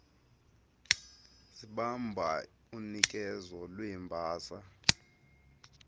zibamba unikezo lweembasa